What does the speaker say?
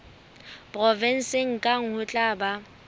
provenseng kang ho tla ba